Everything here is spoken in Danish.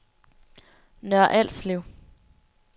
Nørre Alslev